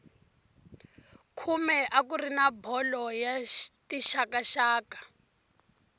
khume a kuri na bolo ya tixakaxaka